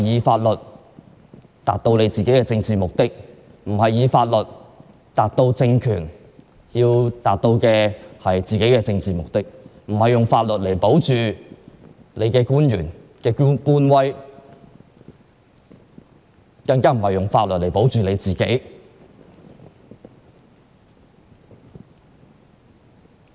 法律不應用作達到政治目的，不應用作達到政權想要達到的政治目的，不應用作保存官威，更不應用作維護自己。